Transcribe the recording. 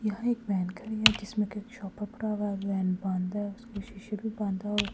यहां एक वैन खड़ी है जिसमें कि एक शॉप पर वैन बंद है और उसके शीशे भी बंद है और--